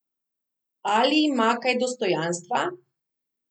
Ali ima kaj dostojanstva?